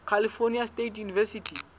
california state university